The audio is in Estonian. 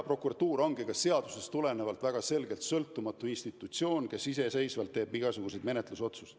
Prokuratuur on seadusest tulenevalt väga selgelt sõltumatu institutsioon, kes iseseisvalt teeb igasuguseid menetlusotsuseid.